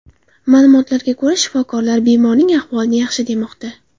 Ma’lumotlarga ko‘ra, shifokorlar bemorning ahvolini yaxshi demoqda.